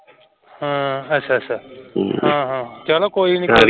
ਹਮ ਅੱਛਾ ਅੱਛਾ ਚਲੋ ਕੋਈ ਨਹੀਂ